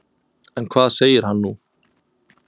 En hvað segir hann nú?